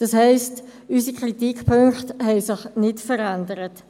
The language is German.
Das heisst, unsere Kritikpunkte haben sich nicht verändert.